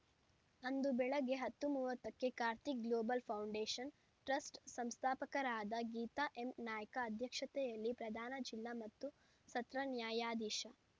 ಅಂದು ಬೆಳಿಗ್ಗೆ ಹತ್ತು ಮೂವತ್ತಕ್ಕೆ ಕಾರ್ತಿಕ್‌ ಗ್ಲೋಬಲ್‌ ಫೌಂಡೇಷನ್‌ ಟ್ರಸ್ಟ್‌ ಸಂಸ್ಥಾಪಕರಾದ ಗೀತಾ ಎಂನಾಯ್ಕ ಅಧ್ಯಕ್ಷತೆಯಲ್ಲಿ ಪ್ರಧಾನ ಜಿಲ್ಲಾ ಮತ್ತು ಸತ್ರ ನ್ಯಾಯಾಧೀಶ